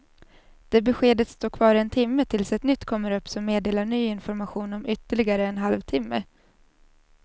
Det beskedet står kvar en timme tills ett nytt kommer upp som meddelar ny information om ytterligare en halv timme.